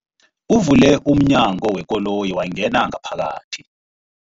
Uvule umnyango wekoloyi wangena ngaphakathi.